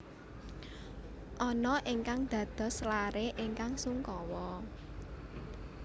Anna ingkang dados laré ingkang sungkawa